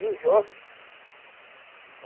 E os jovens?